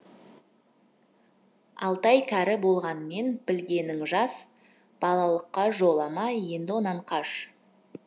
алтай кәрі болғанмен білгенің жас балалыққа жолама енді онан қаш